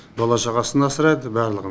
бала шағасын асырайды барлығын